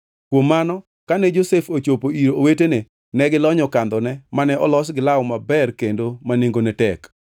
Kuom mano kane Josef ochopo ir owetene ne gilonyo kandhone mane olos gi law maber kendo ma nengone tek,